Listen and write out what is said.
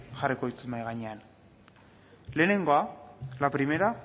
jarriko ditut mahai gainean lehenengoa la primera